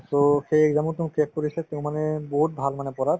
so, সেই exam ও তেওঁ crack কৰিছে তেওঁ মানে বহুত ভাল মানে পঢ়াত